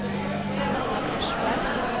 Kristina Forsberg